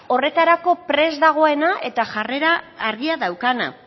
horretarako prest dagoena eta jarrera argia daukana